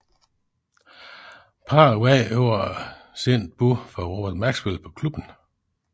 Parret vandt over et sent bud fra Robert Maxwell på klubben